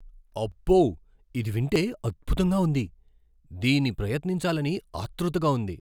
అబ్బో, ఇది వింటే అద్భుతంగా ఉంది! దీని ప్రయత్నించాలని ఆత్రుతగా ఉంది.